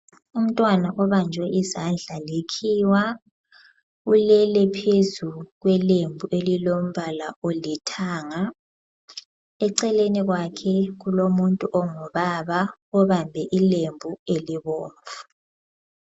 Umntwana obanjwe izandla likhiwa, ulele phezu kwelembu elilombala olithanga. Eceleni kwakhe kulomuntu ongubaba obambe ilembu elibomvu.